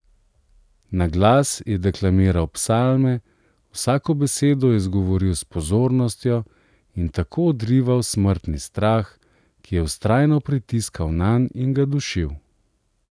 Na glas je deklamiral psalme, vsako besedo izgovoril s pozornostjo in tako odrival smrtni strah, ki je vztrajno pritiskal nanj in ga dušil.